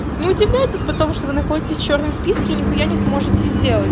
не удивляйтесь потому что вы находитесь в чёрном списке и нихуя не сможете сделать